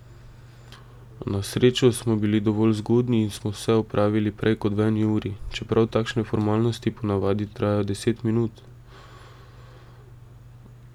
Na srečo smo bili dovolj zgodnji in smo vse opravili prej kot v eni uri, čeprav takšne formalnosti po navadi trajajo deset minut.